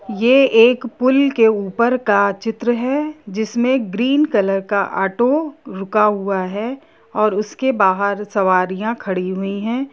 ये एक पूल के ऊपर का चित्र हैजिसमें ग्रीन कलर का ऑटो रुका हुआ हैऔर उसके बहार सवारियां खड़ी हुई है।